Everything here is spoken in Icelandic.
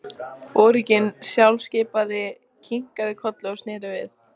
Foringinn sjálfskipaði kinkaði kolli og sneri við.